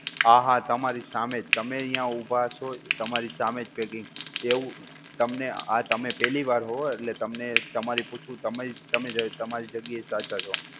હા હા તમારી સામેજ, તમે અહીંયા ઊભા છો, તમારી સામેજ packing, એવું તમને, આ તમે પેહલી વાર હો, એટલે તમને તમારે પૂછ્યું, તમે તમારી જગ્યાએ સાચા છો.